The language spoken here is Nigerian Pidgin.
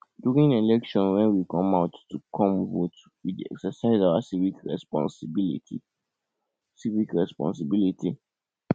during election when we come out to come vote we dey exercise our civic responsibility civic responsibility